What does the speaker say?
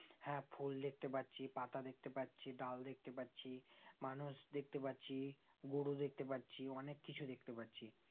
হ্যাঁ ফুল দেখতে পাচ্ছি পাতা দেখতে পাচ্ছি ডাল দেখতে পাচ্ছি মানুষ দেখতে পাচ্ছি গরু দেখতে পাচ্ছি অনেক কিছু দেখতে পাচ্ছি